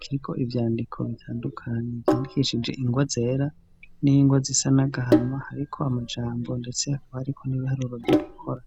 kiriko ivyandiko bitandukanye vyandikishije ingwa zera n'ingwa z'isanagahama ariko amajambo ndetse akaba ariko n'ibiharura vyo gukora.